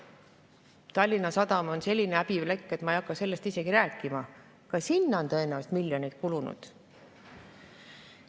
Tallinna Sadama on selline häbiplekk, et ma ei hakka sellest isegi rääkima, ka sinna on tõenäoliselt miljoneid kulunud.